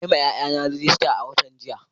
Na yi wa ’ƴa’ƴana rajista a watan jiya.